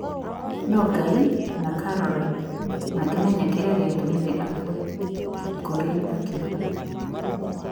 No Ngai na Caroline mangĩmenya kĩrĩa gĩatũmire akue, Kipkorir akiuga.